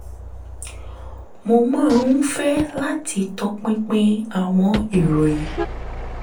mo máa ń fẹ́ láti tọpinpin àwọn ìròyìn